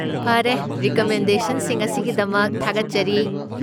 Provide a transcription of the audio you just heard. ꯐꯔꯦ, ꯔꯤꯀꯃꯦꯟꯗꯦꯁꯟꯁꯤꯡ ꯑꯁꯤꯒꯤꯗꯃꯛ ꯊꯥꯒꯠꯆꯔꯤ!